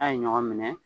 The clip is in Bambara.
A' ye ɲɔgɔn minɛ